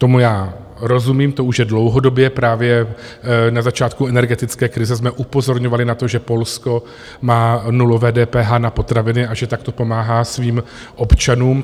Tomu já rozumím, to už je dlouhodobě, právě na začátku energetické krize jsme upozorňovali na to, že Polsko má nulové DPH na potraviny a že takto pomáhá svým občanům.